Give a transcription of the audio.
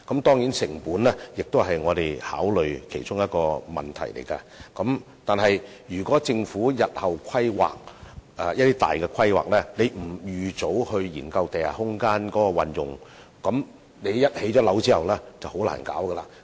當然，成本也是我們需要考慮的一個問題，但是，政府如在日後作出大型規劃時不預早研究地下空間的運用問題，一旦樓宇建成，便再難進行發展。